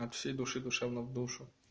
от всей души душевно в душу